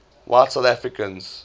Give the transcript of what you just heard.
white south africans